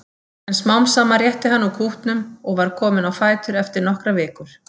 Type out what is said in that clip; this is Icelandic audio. En smám saman rétti hann úr kútnum og var kominn á fætur eftir nokkrar vikur.